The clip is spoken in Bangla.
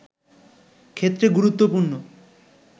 ক্ষেত্রে গুরুত্বপূর্ণ